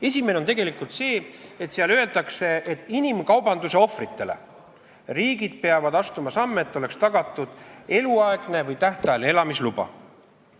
Esimene on see, et riigid peavad selle järgi astuma samme, et inimkaubanduse ohvritele oleks tagatud eluaegne või tähtajaline elamisluba.